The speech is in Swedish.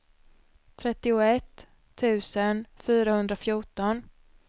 trettioett tusen fyrahundrafjorton